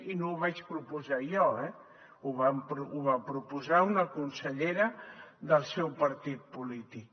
i no ho vaig proposar jo eh ho va proposar una consellera del seu partit polític